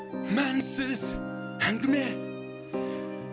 мәнсіз әңгіме